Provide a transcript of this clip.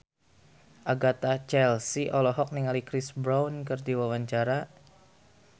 Agatha Chelsea olohok ningali Chris Brown keur diwawancara